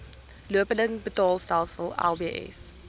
lopende betaalstelsel lbs